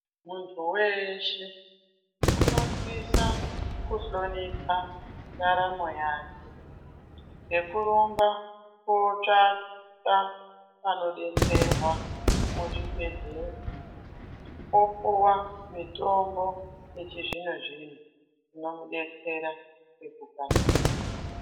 Muntu weshe unosisa kuhlonika ndaramo yake nekurumba kotsvaka panodetserwa muzvipembere opuwa mitombo yechizvino zvino yomidetsera kumu.